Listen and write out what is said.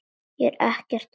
Ég er ekkert að hamast.